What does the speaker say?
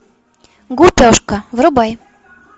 гупешка врубай